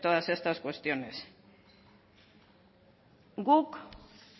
todas estas cuestiones guk